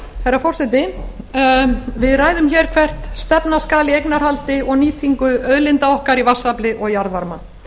herra forseti við ræðum hér hvert stefna skal í eignarhaldi og nýtingu auðlinda okkar í vatnsafli og jarðvarma